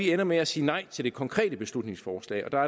ender med at sige nej til det konkrete beslutningsforslag der